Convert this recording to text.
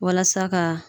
Walasa ka